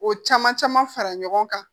O caman caman fara ɲɔgɔn kan